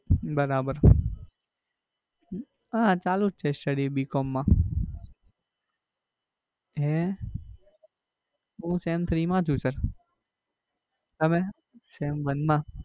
બરાબર હમ હા ચાલુ જ છે studybcom માં હૈ હું sem થ્રી માં છું sir તમે? sem વન માં